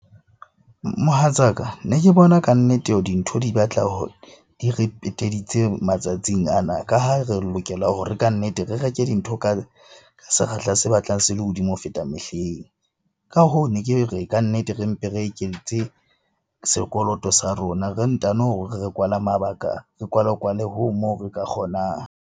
Mohatsaka ne ke bona kannete dintho di batla di re peteditse matsatsing ana, ka ha re lokela hore kannete re reke dintho ka sekgahla se batlang se le hodimo ho feta mehleng. Ka hoo ne ke re kannete re mpe re eketse sekoloto sa rona, re ntano re kwale mabaka, re kwale-kwale hoo moo re ka kgonang.